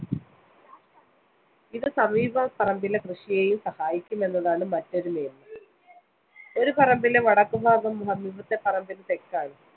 ഇത് സമീപ പറമ്പിലെ കൃഷിയേയും സഹായിക്കും എന്നുള്ളതാണ് മറ്റൊരു . ഒരു പറമ്പിലെ വടക്കുഭാഗം സമീപത്തെ പറമ്പിന്റെ തെക്കാണ്.